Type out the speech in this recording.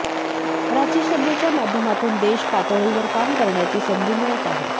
राज्यसभेच्या माध्यमातून देश पातळीवर काम करण्याची संधी मिळत आहे